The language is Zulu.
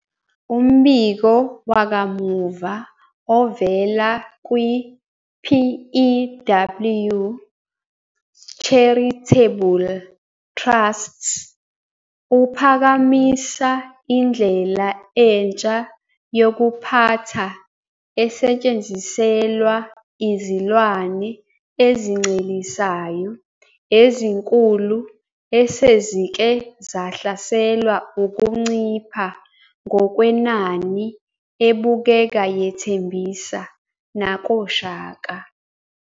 Umbiko wakamuva ovela kwi-PEW Charitable Trusts uphakamisa indlela entsha yokuphatha esetshenziselwa izilwane ezincelisayo ezinkulu esezike zahlaselwe ukuncipha ngokwenani ebukeka yethembisa nakOshaka.